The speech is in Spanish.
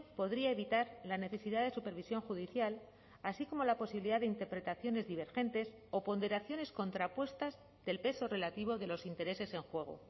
podría evitar la necesidad de supervisión judicial así como la posibilidad de interpretaciones divergentes o ponderaciones contrapuestas del peso relativo de los intereses en juego